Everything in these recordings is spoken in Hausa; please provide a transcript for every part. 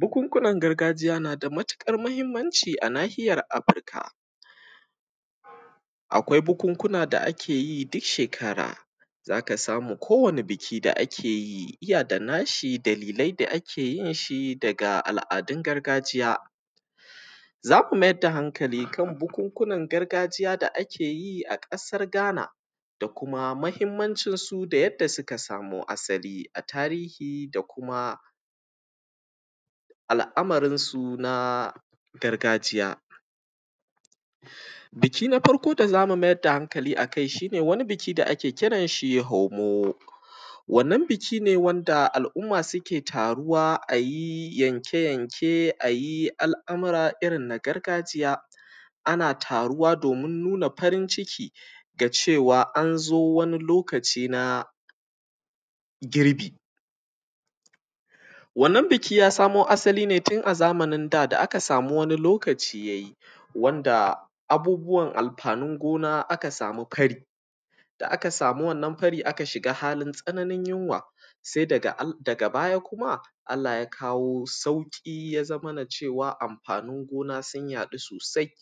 Bukukunan gargajiya na da matukar muhummanci a nahiyar Afrika, akwai bukukunan da ake duk shekara zaka samu kowani biki da akeyi iya da nashi dalilai da akeyin shi daga al’adun gargajiya zaku mayar da hankali kan bukukunan gargajiya da akeyi a ƙasar Ghana da kuma muhimmancin su da yake, suka samo asali a tarihi da kuma al’amarin sun na gargajiya biki na farko da zamu mayar da hankali akai shi ne, wani biki da ake kiran shi da hamo wannan biki ne wanda al’umma suke taruwa ayi yanke yanke ayi al’amura irin na gargajiya, ana taruwa domin nuna farin ciki ga cewa anzo wani lokaci na girbi wannan biki ya samo asali ne tun a zamanin da da aka samo wani lokaci yayi wanda abubuwan amfanin gona da aka samu ƙari da aka samu, wannan karin aka shiga halin tsananin yunwa daga baya Allah yakawo sauki ya zamo cewa amfanin gona sun yaɗu sosai,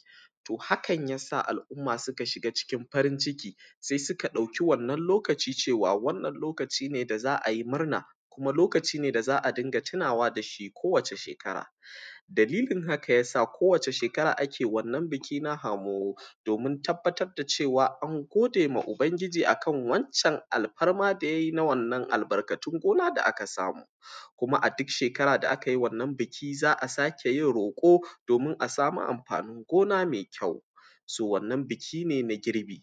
hakan yasa al’umma suka shiga cikin farin ciki sai suka ɗauka, wannan lokaci cewa wannan lokaci ne da za’a murna kuma lokaci ne da za’a dinga tunawa da shi kowace shekara, dalilin hakane yasa ko wace shekara ake wannan biki na hamo domin tabbatar da cewa an godema ubangiji akan wancan alfarmar da yayi na wannan albarka, tun gona da aka samu kuma a duk shekara da akayi wannan biki za’a sake roko asamu amfanin gona me kyau so wannan biki na girbi.